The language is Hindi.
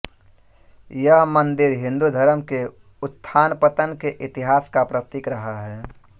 यह मन्दिर हिन्दू धर्म के उत्थानपतन के इतिहास का प्रतीक रहा है